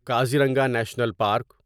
Kaziranga national park